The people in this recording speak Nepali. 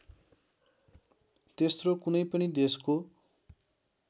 तेस्रो कुनै पनि देशको